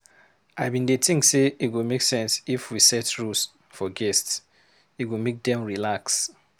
I bin dey think sey e go make sense if we set rules for guests, e go make dem relax.